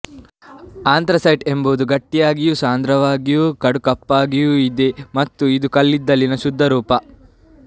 anthracite ಎಂಬುದು ಗಟ್ಟಿಯಾಗಿಯೂ ಸಾಂದ್ರವಾಗಿಯೂ ಕಡುಕಪ್ಪಾಗಿಯೂ ಇದೆ ಮತ್ತು ಇದು ಕಲ್ಲಿದ್ದಲಿನ ಅತ್ಯಂತ ಶುದ್ಧರೂಪ